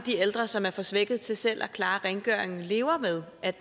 ældre som er for svækkede til selv at klare rengøringen lever med at